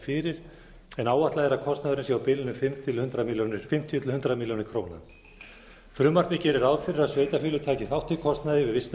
fyrir en áætlað er að kostnaðurinn sé á bilinu fimmtíu til hundrað milljónir króna frumvarpið gerir ráð fyrir að sveitarfélög taki þátt í kostnaði við vistun